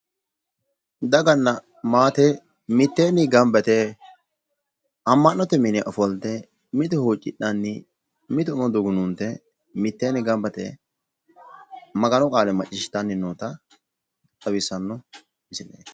Daganna maate mitteenni gamba yite ama'note mine ofoltte, mitu huucidhanni, mitu umo dugunuunte mitteenni gamba yite Maganu qaale maciishitanni noota xawissanno misileeti.